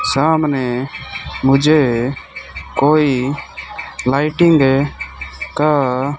सामने मुझे कोई लाइटिंग का--